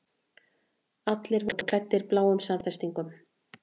Allir voru klæddir bláum samfestingum.